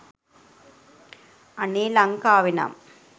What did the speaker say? අනේ ලංකාවෙනම්